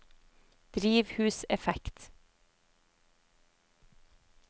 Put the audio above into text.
drivhuseffekt